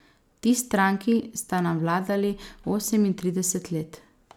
Ti stranki sta nam vladali osemintrideset let.